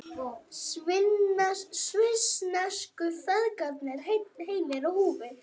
Svissnesku feðgarnir heilir á húfi